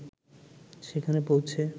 সেখানে পৌঁছে